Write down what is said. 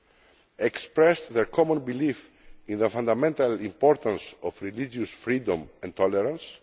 and expressed their common belief in the fundamental importance of religious freedom and tolerance.